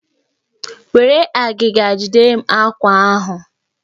Were agịga jidere m àkwá ahụ!